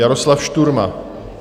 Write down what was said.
Jaroslav Šturma.